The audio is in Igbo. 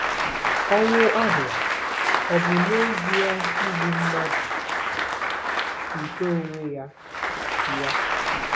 Ọnwụ ahụ ọ̀ bụ n'ezie igbu mmadụ nke onwe ya ya?